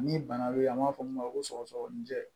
Ni bana bɛ yen an b'a fɔ min ma ko sɔgɔsɔgɔni jɛ